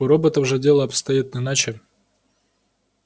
у роботов же дело обстоит иначе